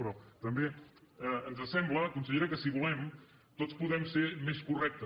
però també ens sembla consellera que si volem tots podem ser més correctes